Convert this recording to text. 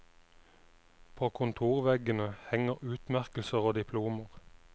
På kontorveggene henger utmerkelser og diplomer.